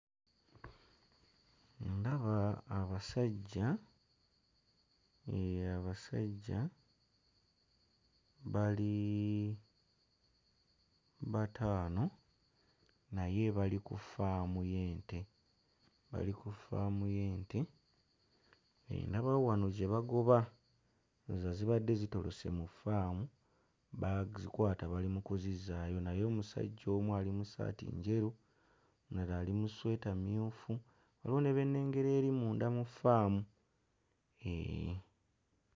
Ndaba abasajja, ee abasajja bali bataano, naye bali ku faamu y'ente. Bali ku ffaamu y'ente, ndabawo wano ze bagoba ndowooza zibadde zitolose mu ffaamu, bazikwata bali mu kuzizzaayo naye omusajja omu ali mu ssaati njeru, omulala ali mu ssweta mmyufu, waliwo ne be nnengera eri mu ffaamu. Eehh.